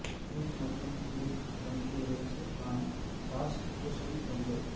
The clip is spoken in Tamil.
ஸ்வீட் மற்றும் புளிப்பு பன்றி இறைச்சி க்கான சாஸ் பூசணி கொண்டு